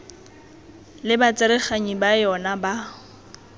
le batsereganyi ba yona ba